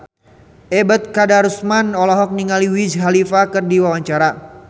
Ebet Kadarusman olohok ningali Wiz Khalifa keur diwawancara